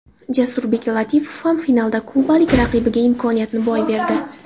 Jasurbek Latipov ham finalda kubalik raqibiga imkoniyatni boy berdi.